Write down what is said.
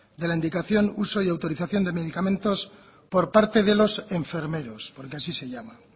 de la indicación uso y autorización de medicamentos por parte de los enfermeros porque así se llama